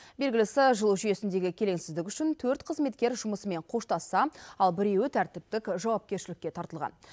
белгілісі жылу жүйесіндегі келеңсіздік үшін төрт қызметкер жұмысымен қоштасса ал біреуі тәртіптік жауапкершілікке тартылған